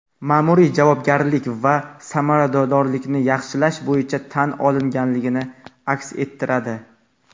ma’muriy javobgarlik va samaradorlikni yaxshilash bo‘yicha tan olinganligini aks ettiradi.